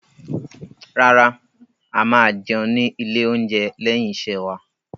Rárá, a máa jẹun ní ilé-oúnjẹ lẹ́yìn iṣẹ́ wa.